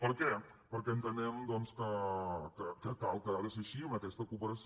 per què perquè entenem doncs que cal que ha de ser així amb aquesta cooperació